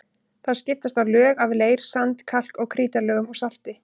Þar skiptast á lög af leir-, sand-, kalk- og krítarlögum og salti.